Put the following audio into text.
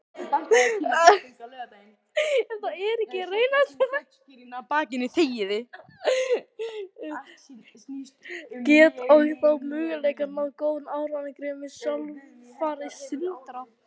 Ef það er ekki raunhæft, get ég þá mögulega náð góðum árangri sem þjálfari Sindra?